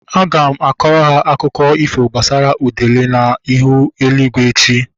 Aga m akọrọ ha akụkọ ifo gbasara udele na ihu eluigwe echi